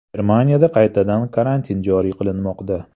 Germaniyada qaytadan karantin joriy qilinmoqda.